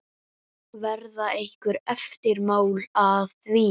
Verða einhver eftirmál að því?